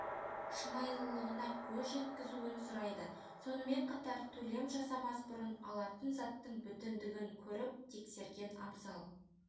шынайылығына көз жеткізуін сұрайды сонымен қатар төлем жасамас бұрын алатын заттың бүтіндігін көріп тексерген абзал